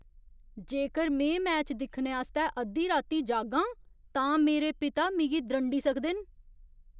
जेकर में मैच दिक्खने आस्तै अद्धी राती जागां तां मेरे पिता मिगी द्रंडी सकदे न।